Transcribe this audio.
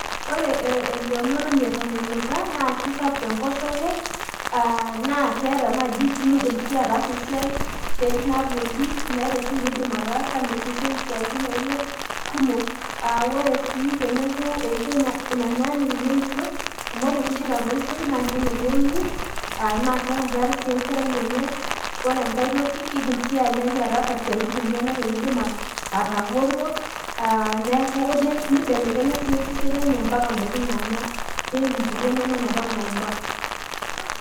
ore entomoni eton enuta naa kisapuk enkoshoke nimidim sii atasa esiai , esiai nagol naa ore sii menyanyuk teneisho amu ore peee eidip atoishoyu naa keneneng'u , naa keeku keeta enkerai enye naa keku kedim atasa esiai tenegolu nibelekenya osesen amu keeku keyieu idakin ompaka inapa naiba.